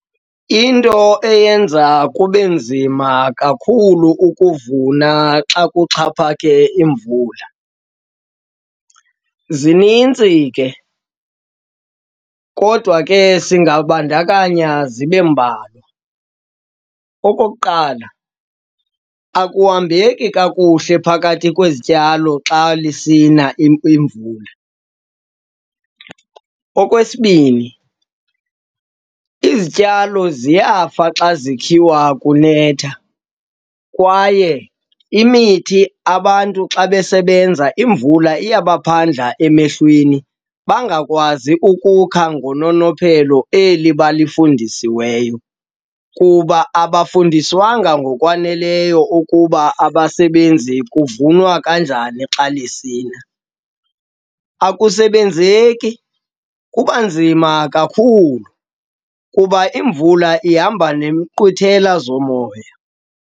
Into eyenza kube nzima kakhulu ukuvuna xa kuxhaphake imvula, zinintsi ke kodwa ke singabandakanya zibe mbalwa. Okokuqala, akuhambeki kakuhle phakathi kwezityalo xa lisina imvula. Okwesibini, izityalo ziyafa xa zikhiwa kunetha kwaye imithi abantu xa besebenza, imvula iyabaphandla emehlweni bangakwazi ukukha ngononophelo eli balifundisiweyo kuba abafundiswanga ngokwaneleyo ukuba abasebenzi kuvunwa kanjani xa lisina. Akusebenzeki, kuba nzima kakhulu kuba imvula ihamba nemiqwithela zomoya.